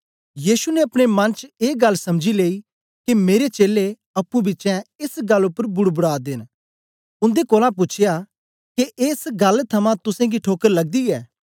यीशु ने अपने मन च ए गल्ल समझी लेई के मेरे चेलें अप्पुंपिछें एस गल्ल उपर बुड़बड़ा दे न उन्दे कोलां पूछया के एस गल्ल थमां तुसेंगी ठोकर लगदी ऐ